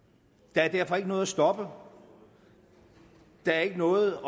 der er derfor ikke noget at stoppe der er ikke noget